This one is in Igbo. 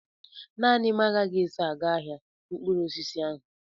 Naanị m agaghị eso aga n'ahia mkpụrụ osisi ahụ.